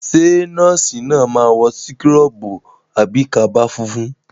Ṣé nọ́ọ̀sì náà máa wọ síkọ́rọ̀bù àbí kaba funfun?